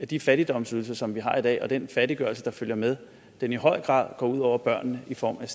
de fattigdomsydelser som vi har i dag og den fattiggørelse der følger med i høj grad går ud over børnene i form af